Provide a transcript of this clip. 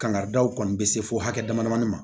Kangaridaw kɔni bɛ se fo hakɛ dama damani ma